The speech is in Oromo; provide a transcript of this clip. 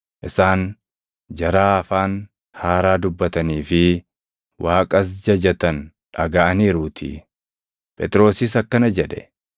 isaan jaraa afaan haaraa dubbatanii fi Waaqas jajatan dhagaʼaniiruutii. Phexrosis akkana jedhe;